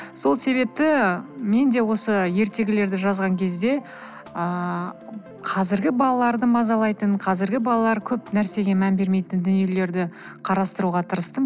сол себепті мен де осы ертегілерді жазған кезде ыыы қазіргі балаларды мазалайтын қазіргі балалар көп нәрсеге мән бермейтін дүниелерді қарастыруға тырыстым